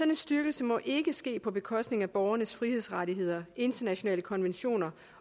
en styrkelse må ikke ske på bekostning af borgernes frihedsrettigheder internationale konventioner